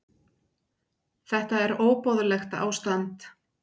Þetta er óboðlegt ástand.